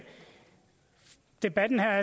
der